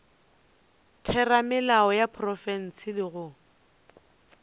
theramelao ya profense le go